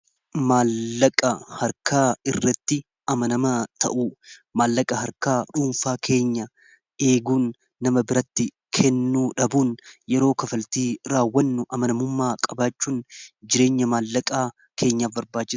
Maallaqa harkaa irratti amanamaa ta'u maallaqa harkaa dhuunfaa keenya eeguun nama biratti kennu dhabuun yeroo kafaltii raawwannu amanamummaa qabaachuun jireenya maallaqaa keenyaf barbaada.